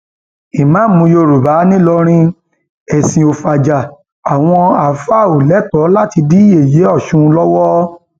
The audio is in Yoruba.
ìmàámu yorùbá nìlọrin ẹsìn ò fajà àwọn àáfàá ò lẹtọọ láti dí yẹyẹ ọsùn lọwọ